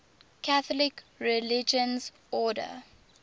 catholic religious order